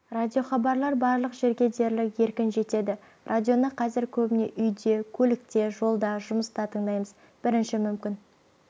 радиохабарлар барлық жерге дерлік еркін жетеді радионы қазір көбіне үйде көлікте жолда жұмыста тыңдаймыз бірінші мүмкін